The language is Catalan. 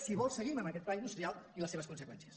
si vol seguim amb aquest pla industrial i les seves conseqüències